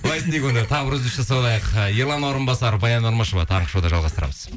былай істейік онда тағы бір үзіліс жасап алайық ы ерлан орынбасар баян нұрмышева таңғы шоуда жалғастырамыз